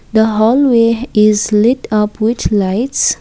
the hallway is light up with lights.